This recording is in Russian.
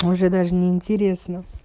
уже даже неинтересно